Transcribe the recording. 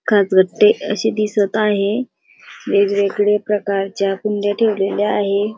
असे दिसत आहे वेगवेगळ्या प्रकारच्या कुंड्या ठेवलेल्या दिसत आहेत.